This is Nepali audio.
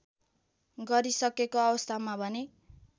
गरिसकेको अवस्थामा भने